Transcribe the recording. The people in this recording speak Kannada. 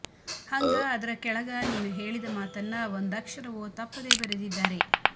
ಹಂಗ ಅದರ ಕೆಳಗ ನೀನು ಹೇಳಿದ ಮಾತನ್ನ ಒಂದಕ್ಷರವೊ ತಪ್ಪದೇ ಬರೆದಿದ್ದಾರೆ